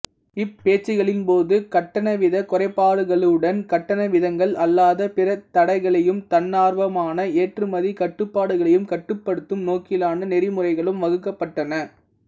இப் பேச்சுக்களின்போது கட்டணவீதக் குறைப்புக்களுடன் கட்டணவீதங்கள் அல்லாத பிற தடைகளையும் தன்னார்வமான ஏற்றுமதிக் கட்டுப்பாடுகளையும் கட்டுப்படுத்தும் நோக்கிலான நெறிமுறைகளும் வகுக்கப்பட்டன